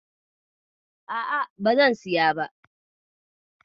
A'a, bazan siya ba.